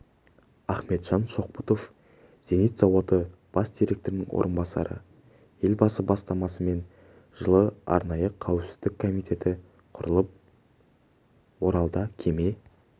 ахметжан шоқбұтов зенит зауыты бас директорының орынбасары елбасы бастамасымен жылы арнайы қауіпсіздік комитеті құрылып оралда кеме